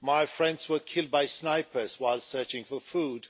Friends were killed by snipers while searching for food